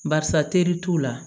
Barisa teri t'u la